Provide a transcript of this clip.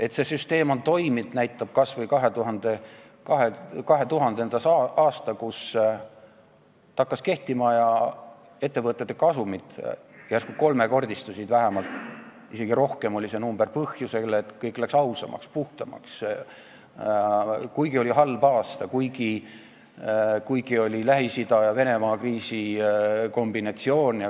Et see süsteem on toiminud, näitab kas või 2000. aasta, kui see kehtima hakkas ja ettevõtete kasumid järsku vähemalt kolmekordistusid , seda põhjusel, et kõik läks ausamaks ja puhtamaks, kuigi oli halb aasta, kuigi oli Lähis-Ida ja Venemaa kriisi kombinatsioon.